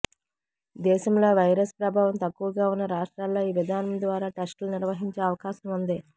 దేశంలో వైరస్ ప్రభావం తక్కువగా ఉన్న రాష్ట్రాల్లో ఈ విధానం ద్వారా టెస్టులు నిర్వహించే అవకాశం ఉంది